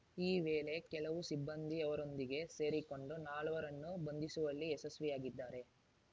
ಈ ವೇಳೆ ಕೆಲವು ಸಿಬ್ಬಂದಿ ಅವರೊಂದಿಗೆ ಸೇರಿಕೊಂಡು ನಾಲ್ವರನ್ನು ಬಂಧಿಸುವಲ್ಲಿ ಯಶಸ್ವಿಯಾಗಿದ್ದಾರೆ